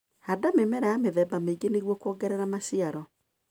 Handa mĩmera ya mĩthemba mĩingĩ nĩguo kuongerera maciaro.